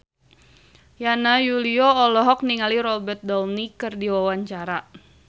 Yana Julio olohok ningali Robert Downey keur diwawancara